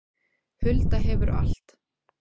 Hulda hefur allt